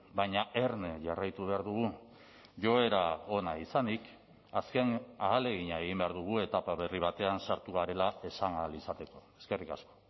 baina erne jarraitu behar dugu joera ona izanik azken ahalegina egin behar dugu etapa berri batean sartu garela esan ahal izateko eskerrik asko